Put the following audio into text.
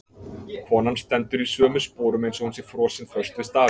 Konan stendur í sömu sporum eins og hún sé frosin föst við stafinn.